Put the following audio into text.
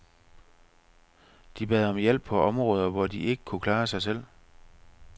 De bad om hjælp på områder, hvor de ikke kunne klare sig selv.